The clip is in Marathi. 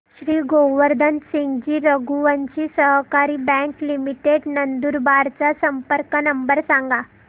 श्री गोवर्धन सिंगजी रघुवंशी सहकारी बँक लिमिटेड नंदुरबार चा संपर्क नंबर सांगा